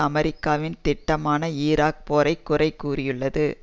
அமெரிக்காவின் திட்டமான ஈராக் போரை குறை கூறியுள்ளது